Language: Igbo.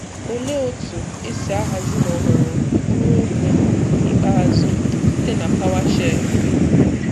Olee otú esi ahazi na họrọ mkpụrụ okwu ikpeazụ site na PowerShell?